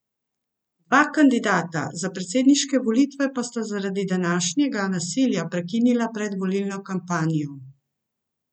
Dva kandidata za predsedniške volitve pa sta zaradi današnjega nasilja prekinila predvolilno kampanjo.